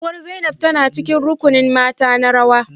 Uwar Zainab tana cikin rukunin mata na rawa